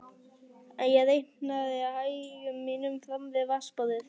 Ég reikaði í hægðum mínum fram við vatnsborðið.